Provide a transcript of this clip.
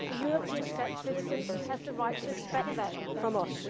European citizens have the right to expect that from us.